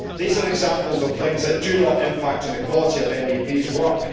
These are examples of things that do not impact on the quality of MEPs' work.